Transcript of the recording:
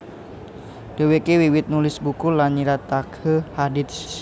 Dhèwèké wiwit nulis buku lan nyritakaké hadits